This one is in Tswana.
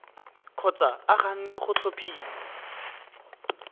kgotsa a ganne go tlhophiwa